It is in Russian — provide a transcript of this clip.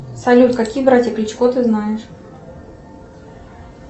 салют какие братья кличко ты знаешь